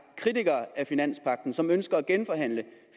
kritiker af finanspagten som ønsker at genforhandle